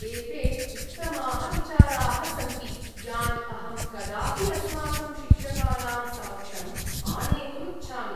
एते उत्तमाः विचाराः सन्ति, यान् अहं कदापि अस्माकं शिक्षकानां समक्षम् आनेतुम् इच्छामि।